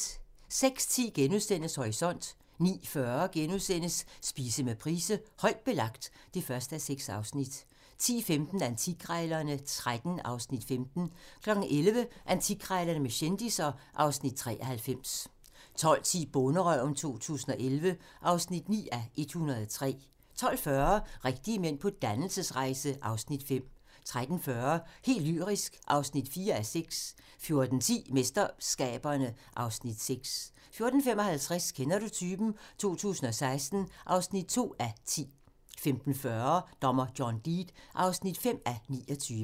06:10: Horisont * 09:40: Spise med Price: "Højt belagt" (1:6)* 10:15: Antikkrejlerne XIII (Afs. 15) 11:00: Antikkrejlerne med kendisser (Afs. 93) 12:10: Bonderøven 2011 (9:103) 12:40: Rigtige mænd på dannelsesrejse (Afs. 5) 13:40: Helt lyrisk (4:6) 14:10: MesterSkaberne (Afs. 6) 14:55: Kender du typen? 2016 (2:10) 15:40: Dommer John Deed (5:29)